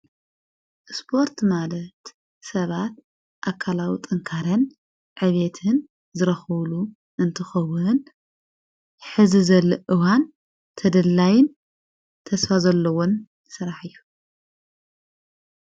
ስፖርት ማለት ሰባት ኣካላዊ ጠንካረን ዕቤትን ዘረኸውሉ እንትኸውንን ሕዚ ዘለ እዋን ተደላይን ተስፋ ዘለዎን ሠራሕ እዩ::